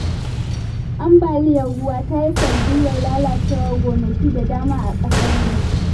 Ambaliyar ruwa ta yi sanadiyya lalacewar gonaki da dama a ƙasar nan.